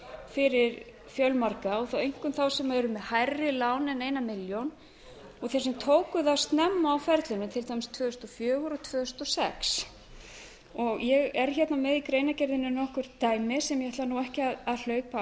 fyrir fjölmarga og þó einkum þá sem eru með hærri lán en eina milljón og sem tóku þau nema á ferlinu til dæmis tvö þúsund og fjögur og tvö þúsund og sex ég er með í greinargerðinni nokkur dæmi sem ég ætla nú ekki að hlaupa